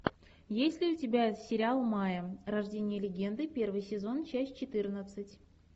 есть ли у тебя сериал майя рождение легенды первый сезон часть четырнадцать